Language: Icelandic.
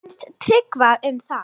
Hvað fannst Tryggva um það?